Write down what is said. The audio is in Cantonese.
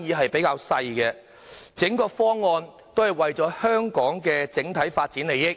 議較少，整個方案也是為了香港的整體發展利益。